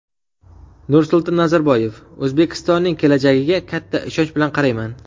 Nursulton Nazarboyev: O‘zbekistonning kelajagiga katta ishonch bilan qarayman.